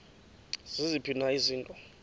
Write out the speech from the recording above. ziziphi na izinto